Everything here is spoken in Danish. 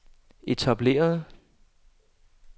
etablerede